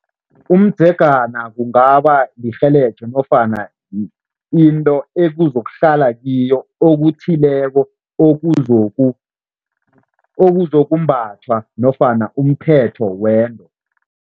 Umdzegana kungaba nofana into ekuzokuhlala kiyo okuthileko okuzokumbathwa nofana umphetho wento.